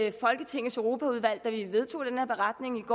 i folketingets europaudvalg vedtog den her beretning